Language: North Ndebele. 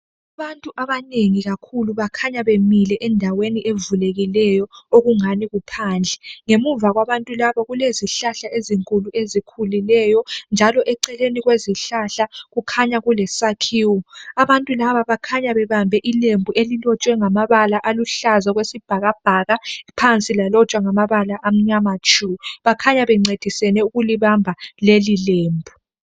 Abantu abanengi bakhanya bemile endaweni evulekileyo okungani kuphandle. Ngemuva kwabantu laba kulezihlahla ezinkulu ezikhulileyo. Njalo Eceleni kwezihlahla kukhanya kulesakhiwo. Abantu laba bakhanya bebambe ilembu elilotshwe ngamabala aluhlaza okwesibhakabhaka. Phansi lalotshwa ngamabala amnyama tshu. Bakhanya bencediseni ukulibamba lelilembu.